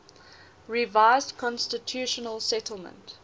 revised constitutional settlement